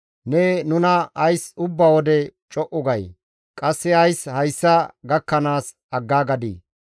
Ne nuna ays ubba wode co7u gay? qasse ays hayssa gakkanaas aggaagadii?